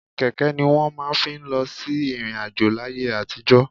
Kẹ̀kẹ́ ni wọ́n máa ń fi lọ sí ìrìn-àjò láyé àtijọ́.